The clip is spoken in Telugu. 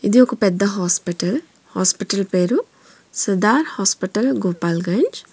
ఇది ఒక పెద్ద హాస్పిటల్ హాస్పిటల్ పేరు సుల్తాన్ హాస్పిటల్ గోపాల్గంజ్.